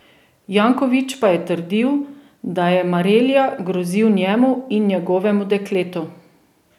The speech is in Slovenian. Janković pa je trdil, da je Marelja grozil njemu in njegovem dekletu.